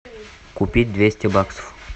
купить двести баксов